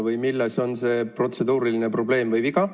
Või milles on see protseduuriline probleem ?